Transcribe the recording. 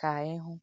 KÀ Ị HỤ̀.”